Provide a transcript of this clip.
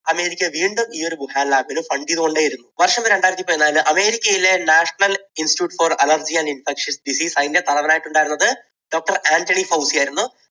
America വീണ്ടും ഈ ഒരു വുഹാൻ lab ൽ fund ചെയ്തുകൊണ്ടേയിരുന്നു. വർഷം രണ്ടായിരത്തി പതിനാലിൽ വാസ്തവത്തിൽ രണ്ടായിരത്തി പതിനാലിൽ അമേരിക്കയിലെ National Institute for Allergy and Infection Disease അതിൻറെ തലവനായിട്ട് ഉണ്ടായിരുന്നത് doctor ആൻറണി ഫൗസി ആയിരുന്നു.